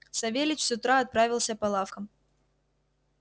савельич с утра отправился по лавкам